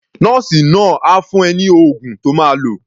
Nọ́ọ̀sì náà á fún ẹ ní oògùn to máa lò.